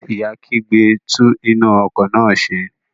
Ìyá kígbe, "tún iná ọkọ̀ náà ṣe".